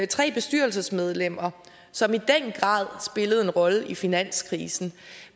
tre bestyrelsesmedlemmer som i den grad spillede en rolle i finanskrisen